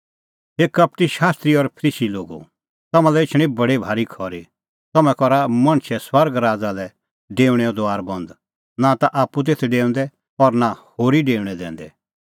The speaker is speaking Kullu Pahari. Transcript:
हे कपटी शास्त्री और फरीसी लोगो तम्हां लै एछणी बडी भारी खरी तम्हैं करा मणछे स्वर्ग राज़ा लै डेऊणे दुआर बंद नां ता आप्पू तेथ डेऊंदै और नां होरी डेऊणैं दैंदै